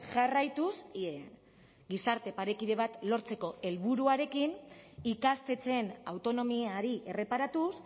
jarraituz gizarte parekide bat lortzeko helburuarekin ikastetxeen autonomiari erreparatuz